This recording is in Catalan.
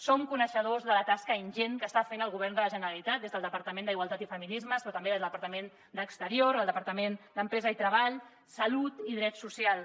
som coneixedors de la tasca ingent que està fent el govern de la generalitat des del departament d’igualtat i feminismes però també des del departament d’exteriors els departaments d’empresa i treball salut i drets socials